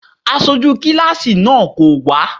Aṣojú kíláàsì náà kò wá.